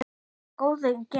Góður í gegn.